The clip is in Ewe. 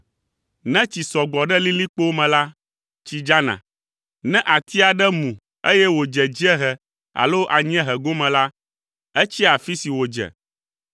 Ne tsi sɔ gbɔ ɖe lilikpowo me la, tsi dzana. Ne ati aɖe mu eye wòdze dziehe alo anyiehe gome la, etsia afi si wòdze.